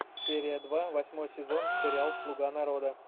серия два восьмой сезон сериал слуга народа